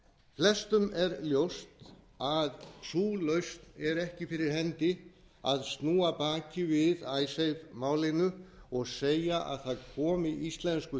flestum er ljóst að sú lausn er ekki fyrir hendi að snúa baki við icesave málinu og segja að það komi íslensku